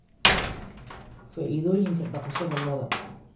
Faa'iidooyinka Dhaqashada Lo'da